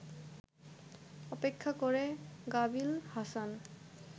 অপেক্ষা করে গালিব হাসান